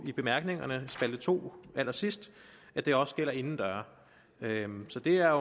i bemærkningerne spalte to allersidst at det også gælder indendørs så det er